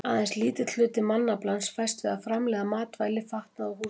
Aðeins lítill hluti mannaflans fæst við að framleiða matvæli, fatnað og húsnæði.